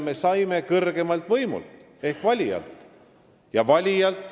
Me saime hinnangu kõrgeimalt võimult ehk valijalt.